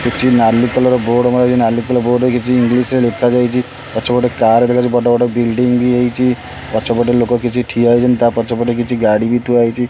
କିଛି ନାଲି colour board ମରା ହେଇଚି ନାଲି କଲର୍ ବୋର୍ଡ଼ ରେ କିଛି ଇଂଲିଶ ରେ ଲେଖା ଯାଇଚି ପଛ ପଟେ ଗୋଟେ କାର୍ ଦେଖାଯାଉଚି ବଡ଼ ବଡ଼ ବିଲଡିଂ ବି ହେଇଚି ପଛ ପଟେ ଲୋକ କିଛି ଠିଆ ହେଇଛନ୍ତି ତା ପଛ ପଟେ କିଛି ଗାଡ଼ି ଥୁଆ ହେଇଚି।